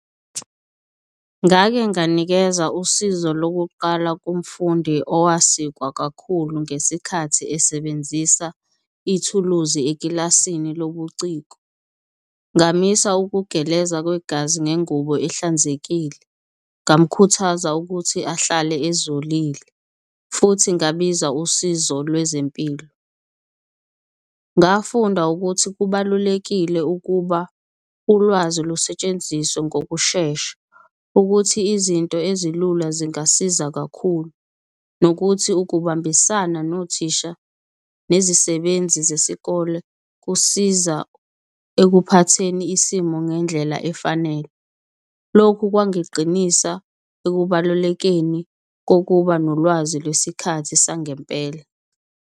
Ngake nganikeza usizo lokuqala kumfundi owasikwa kakhulu ngesikhathi esebenzisa ithuluzi ekilasini lobuciko. Ngamisa ukugeleza kwegazi ngengubo ehlanzekile, ngamukhuthaza ukuthi ahlale ezolile futhi ngabiza usizo lwezempilo. Ngafunda ukuthi kubalulekile ukuba ulwazi lusetshenziswe ngokushesha, ukuthi izinto ezilula zingasiza kakhulu, nokuthi ukubambisana nothisha nezisebenzi zesikole kusiza ekuphatheni isimo ngendlela efanele. Lokhu kwangiqinisa ekubalulekeni kokuba nolwazi lwesikhathi sangempela.